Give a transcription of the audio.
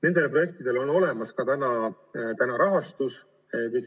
Nendele projektidele on olemas ka rahastus.